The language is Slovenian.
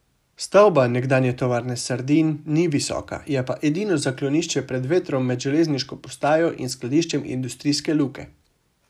Stavba nekdanje Tovarne sardin ni visoka, je pa edino zaklonišče pred vetrom med Železniško postajo in skladiščem industrijske luke.